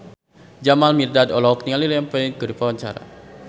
Jamal Mirdad olohok ningali Liam Payne keur diwawancara